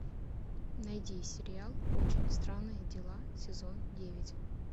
найди сериал очень странные дела сезон девять